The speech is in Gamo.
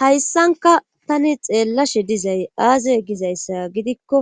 hayssanka tani xeellashe dizay aaza gizayssa gidikko